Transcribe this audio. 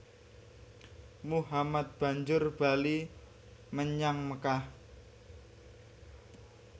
Muhammad banjur bali menyang Mekkah